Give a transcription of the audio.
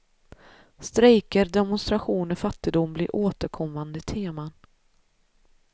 Strejker, demonstrationer, fattigdom blir återkommande teman.